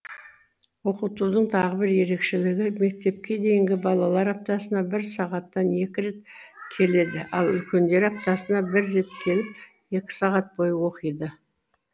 оқытудың тағы бір ерекшелігі мектепке дейінгі балалар аптасына бір сағаттан екі рет келеді ал үлкендері аптасына бір рет келіп екі сағат бойы оқиды